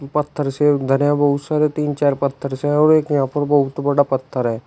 पत्थर से उधर है बहुत सारे तीन चार पत्थर से और एक यहां पर बहुत बड़ा पत्थर है।